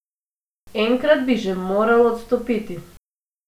Enkrat bi že moral odstopiti.